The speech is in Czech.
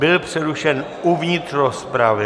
Byl přerušen uvnitř rozpravy.